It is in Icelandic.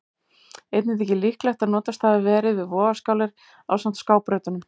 Einnig þykir líklegt að notast hafi verið við vogarstangir ásamt skábrautunum.